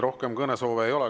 Rohkem kõnesoove ei ole.